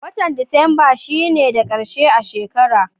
Watan disamba shi ne da karshe a shekara.